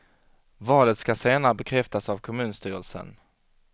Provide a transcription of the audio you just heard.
Valet ska senare bekräftas av kommunstyrelsen.